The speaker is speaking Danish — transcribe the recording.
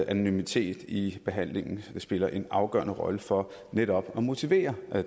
anonymitet i behandlingen spiller en afgørende rolle for netop at motivere